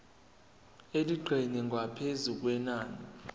elingeqi ngaphezu kwenani